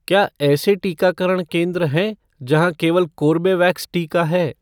क्या ऐसे टीकाकरण केंद्र हैं जहाँ केवल कोर्बेवैक्स टीका है?